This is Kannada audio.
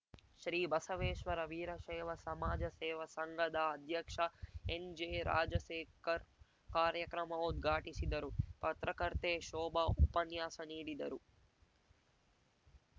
ಶ್ರೀ ಬಸವೇಶ್ವರ ವೀರಶೈವ ಸಮಾಜ ಸೇವಾ ಸಂಘದ ಅಧ್ಯಕ್ಷ ಎನ್‌ಜೆ ರಾಜಶೇಖರ್‌ ಕಾರ್ಯಕ್ರಮ ಉದ್ಘಾಟಿಸಿದರು ಪತ್ರಕರ್ತೆ ಶೋಭಾ ಉಪನ್ಯಾಸ ನೀಡಿದರು